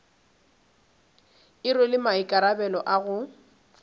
e rwele maikarabelo a go